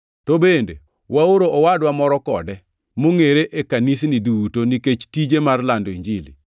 To bende waoro owadwa moro kode, mongʼere e kanisni duto nikech tije mar lando Injili.